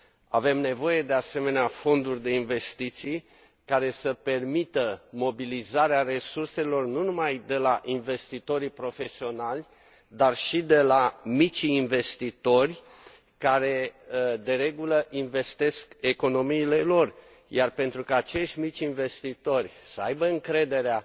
Avem nevoie de asemenea fonduri de investiții care să permită mobilizarea resurselor nu numai de la investitorii profesionali, dar și de la micii investitori care, de regulă, investesc economiile lor, iar pentru ca acești mici investitori să aibă încrederea